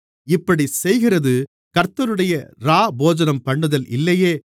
இப்படிச் செய்கிறது கர்த்தருடைய இராப்போஜனம்பண்ணுதல் இல்லையே